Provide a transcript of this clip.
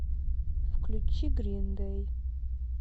включи грин дэй